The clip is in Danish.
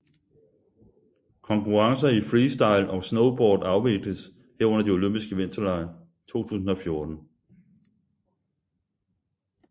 Konkurrencer i freestyle og snowboard afvikles her under de olympiske vinterlege 2014